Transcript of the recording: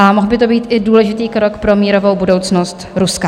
A mohl by to být i důležitý krok pro mírovou budoucnost Ruska.